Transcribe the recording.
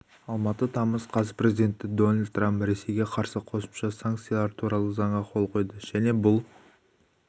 алматы тамыз қаз президенті дональд трамп ресейге қарсы қосымша санкциялар туралы заңға қол қойды және бұл